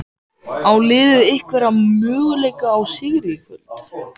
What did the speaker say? Á liðið einhverja möguleika á sigri í kvöld?